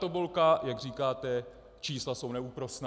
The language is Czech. Tabulka, jak říkáte, čísla jsou neúprosná.